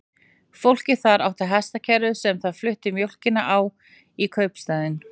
Fólkið þar átti hestakerru sem það flutti mjólkina á í kaupstaðinn.